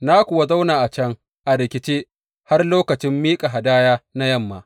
Na kuwa zauna a can a rikice, har lokacin miƙa hadaya na yamma.